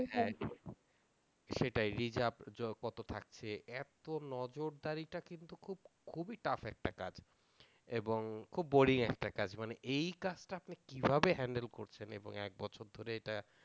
সেটাই রিজার্ভ কত থাকছে এত্ত নজরদারিটা কিন্তু খুব খুবই tough একটা কাজ এবং খুব boring একটা কাজ মানে এই কাজটা আপনি কিভাবে handle করছেন এবং এক বছর ধরে এটা